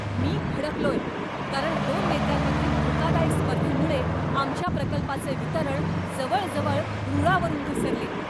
मी भडकलोय, कारण दोन नेत्यांमधील धोकादायक स्पर्धेमुळे आमच्या प्रकल्पाचे वितरण जवळजवळ रुळावरून घसरले.